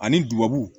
Ani duwawu